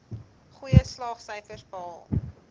goeie slaagsyfers behaal